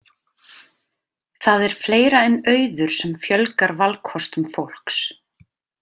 Það er fleira en auður sem fjölgar valkostum fólks.